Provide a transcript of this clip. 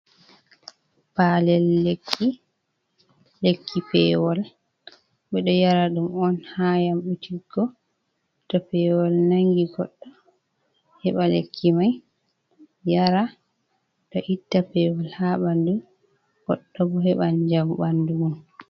Palel lekki peewol ɓe ɗo yara ɗum on, ha yamɗutiggo to peewol nanngi goɗɗo, heɓa lekki may yara ɗo itta peewol, ha ɓanndu goɗɗo bo, heɓa jam ɓanndu mum.